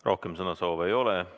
Rohkem sõnavõtusoove ei ole.